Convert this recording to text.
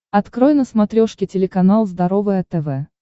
открой на смотрешке телеканал здоровое тв